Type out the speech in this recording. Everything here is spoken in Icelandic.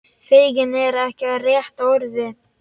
Feginn er ekki rétta orðið.